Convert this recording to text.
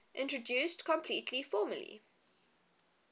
introduced completely formally